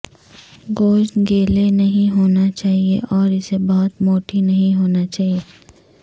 گوشت گیلے نہیں ہونا چاہئے اور اسے بہت موٹی نہیں ہونا چاہئے